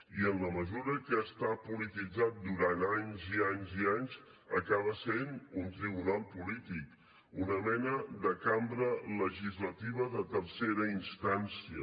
i en la mesura que està polititzat durant anys i anys i anys acaba sent un tribunal polític una mena de cambra legislativa de tercera instància